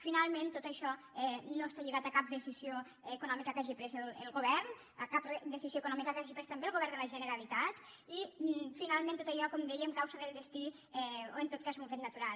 finalment tot això no està lligat a cap decisió econòmica que hagi pres el govern a cap decisió econòmica que hagi pres també el govern de la generalitat i finalment tot allò com dèiem causa del destí o en tot cas és un fet natural